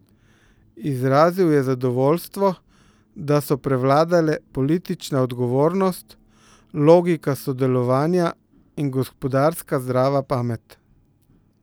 Izrazil je zadovoljstvo, da so prevladale politična odgovornost, logika sodelovanja in gospodarska zdrava pamet.